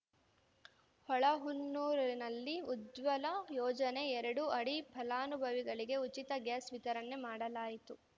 ಹೊಳೆಹೊನ್ನೂರಿನಲ್ಲಿ ಉಜ್ವಲ ಯೋಜನೆ ಎರಡು ಅಡಿ ಫಲಾನುಭವಿಗಳಿಗೆ ಉಚಿತ ಗ್ಯಾಸ್‌ ವಿತರಣೆ ಮಾಡಲಾಯಿತು